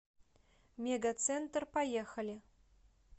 мегацентр поехали